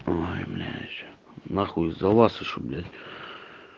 ой блять нахуй из-за вас ещё блять